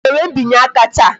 A ga-enwe mbinye aka taa?